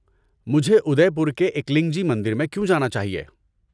مجھے ادے پور کے ایکلنگ جی مندر میں کیوں جانا چاہیے؟